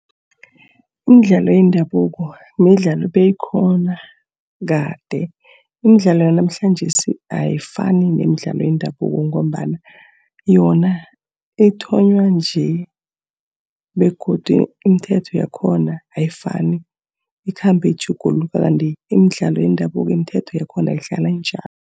Imidlalo yendabuko, midlalo ebeyikhona kade. Imidlalo yanamhlanjesi ayifani nemidlalo yendabuko ngombana yona ithonywa nje, begodu imithetho yakhona ayifani, ikhambe itjhuguluka. Kanti imidlalo yendabuko, imithetho yakhona ihlala injalo.